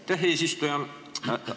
Aitäh, eesistuja!